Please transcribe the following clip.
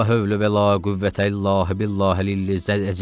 La hövlə və la qüvvətə illa billahi əlizə əzim.